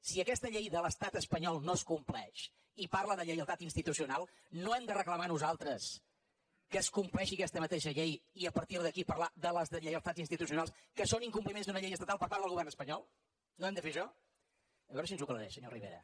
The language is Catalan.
si aquesta llei de l’estat espanyol no es compleix i parla de lleialtat institucional no hem de reclamar nosaltres que es compleixi aquesta mateixa llei i a partir d’aquí parlar de les deslleialtats institucionals que són incompliments d’una llei estatal per part del govern espanyol no hem de fer això a veure si ens ho aclareix senyor rivera